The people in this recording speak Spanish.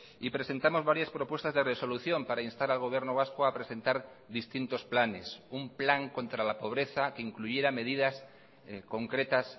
y presentamos varias propuestas de resolución para instar al gobierno vasco a presentar distintos planes un plan contra la pobreza que incluyera medidas concretas